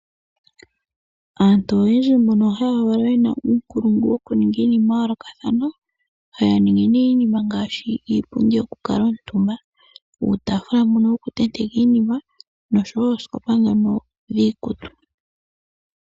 Aantu oyindji mbono haya valwa yina uukulungu wukuninga iinima ya yoolokathana, haya ningi nee iinima ngaashi: Iipundi yokukala omutumba, uutafula mbono wokutetekwa iinima osho woo oosikopa dhono dhokutulwa iikutu.